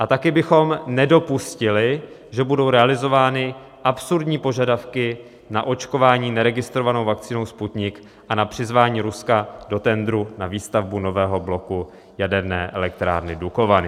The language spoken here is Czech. A taky bychom nedopustili, že budou realizovány absurdní požadavky na očkování neregistrovanou vakcínou Sputnik a na přizvání Ruska do tendru na výstavbu nového bloku Jaderné elektrárny Dukovany.